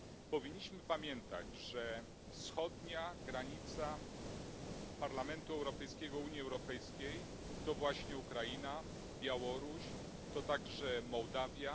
Powinniśmy pamiętać, że wschodnia granica Parlamentu Europejskiego Unii Europejskiej to właśnie Ukraina, Białoruś, to także Mołdawia.